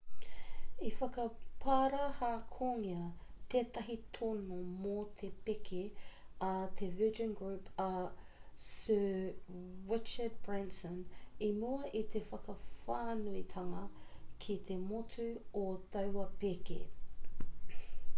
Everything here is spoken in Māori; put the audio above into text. i whakaparahakongia tētahi tono mō te pēke a te virgin group a sir richard branson i mua i te whakawhānuitanga ki te motu o taua pēke